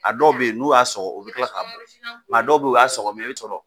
A dɔw be yen n'u y'a sɔgɔ o be kila k'a bɔ a dɔw be yen o sɔgɔ mɛ o y'a sɔrɔ